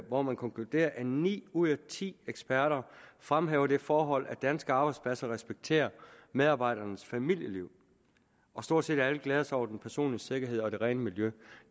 hvor man konkluderer at ni ud af ti eksperter fremhæver det forhold at danske arbejdspladser respekterer medarbejdernes familieliv og stort set alle glæder sig over den personlige sikkerhed og det rene miljø